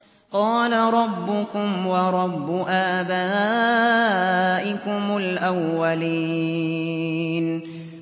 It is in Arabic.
قَالَ رَبُّكُمْ وَرَبُّ آبَائِكُمُ الْأَوَّلِينَ